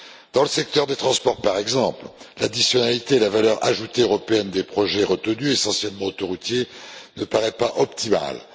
Dans le secteur des transports, par exemple, l'additionnalité et la valeur ajoutée européenne des projets retenus, essentiellement autoroutiers, ne paraissent pas optimales.